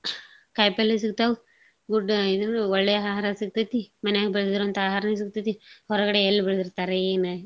ಕಾಯ್ಪಲ್ಲೇ ಸಿಗ್ತಾವ್ good ಇದ್ ಒಳ್ಳೇ ಆಹಾರ ಸಿಗ್ತೇತಿ, ಮನ್ಯಾಗ್ ಬೆಳ್ದಿರೋಂತಾ ಆಹಾರ ಸಿಗ್ತೇತಿ. ಹೊರ್ಗಡೇ ಎಲ್ ಬೆಳ್ದಿರ್ತಾರ ಏನ.